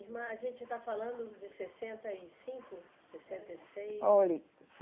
Irmã, a gente está falando de sessenta e cinco, sessenta e seis